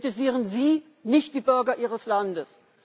Wir kritisieren Sie, nicht die Bürger Ihres Landes.